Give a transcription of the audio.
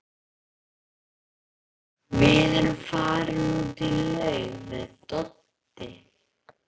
Við erum farin út í laug við Doddi.